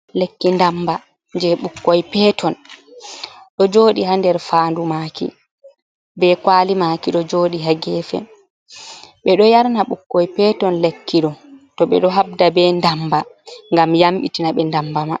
Lekki dammba jey ɓukkoy peton, ɗo jooɗi haa nder faandu maaki be kuwali maaki. Ɗo jooɗi haa geefe, ɓe ɗo yarna ɓukkoy peton lekki ɗo, to ɓe ɗo habda be dammba, ngam yamɗitina ɓe ndammba may.